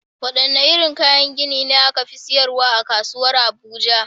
Wadanne irin kayan gini ne aka fi siyarwa a kasuwar Abuja?